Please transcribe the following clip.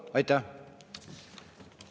Aitäh!